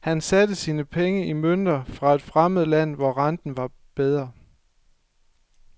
Han satte sine penge i mønter fra et fremmed land, hvor renten var bedre.